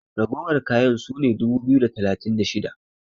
ragowar kayan su ne dubu biyu da talatin da shida!